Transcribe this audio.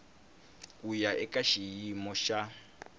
ku ya eka xiyimo xa